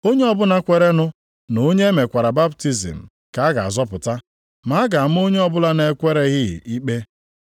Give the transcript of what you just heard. \+wj Onye ọbụla kweerenụ na onye e mekwara baptizim ka a ga-azọpụta. Ma a ga-ama onye ọbụla na-ekwereghị ikpe.\+wj*